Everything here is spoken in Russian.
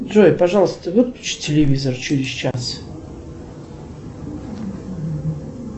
джой пожалуйста выключи телевизор через час